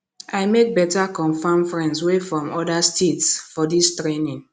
i make beta confam friends wey from oda states for dis training